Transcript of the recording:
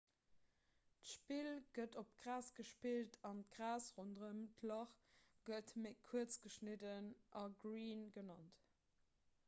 d'spill gëtt op gras gespillt an d'gras ronderëm d'lach gëtt méi kuerz geschnidden a green genannt